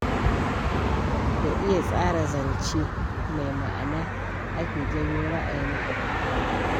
Da iya tsara zance mai ma'ana ake janyo ra'ayin abokaina.